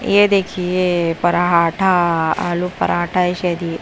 ये देखिए पराठा आलू पराठा है शायद ये।